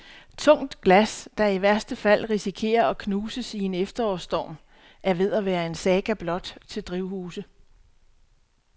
Tungt glas, der i værste fald risikerer at knuses i en efterårsstorm, er ved at være en saga blot til drivhuse.